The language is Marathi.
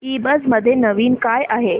ईबझ मध्ये नवीन काय आहे